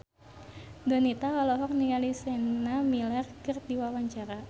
Donita olohok ningali Sienna Miller keur diwawancara